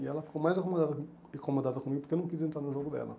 E ela ficou mais acomodada incomodada comigo porque eu não quis entrar no jogo dela.